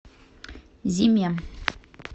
зиме